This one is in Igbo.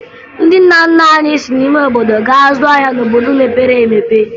Ndị nna nna anyị si n'ime obodo gaa zụọ ahịa n'obodo mepere emepe